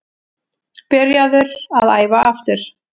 Byrjaður að æfa aftur.